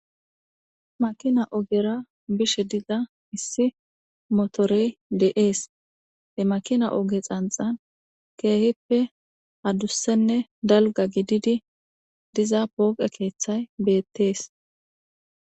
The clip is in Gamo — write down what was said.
makina ogera bishe digga issi motore de7ees e makina oge xanxan keehippe adussenne dalga gididi diza booqe keeththay beettees